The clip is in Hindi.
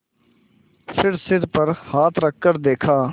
फिर सिर पर हाथ रखकर देखा